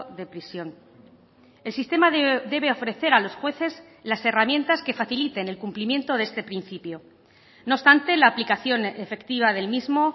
de prisión el sistema debe ofrecer a los jueces las herramientas que faciliten el cumplimiento de este principio no obstante la aplicación efectiva del mismo